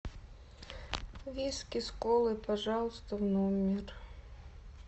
виски с колой пожалуйста в номер